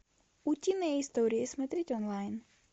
утиные истории смотреть онлайн